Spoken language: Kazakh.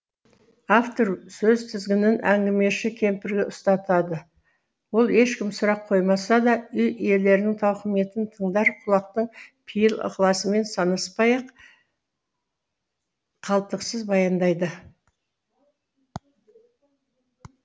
автор сөз тізгінін әңгімеші кемпірге ұстатады ол ешкім сұрақ қоймаса да үй иелерінің тауқыметін тыңдар құлақтың пейіл ықыласымен санаспай ақ қалтқысыз баяндайды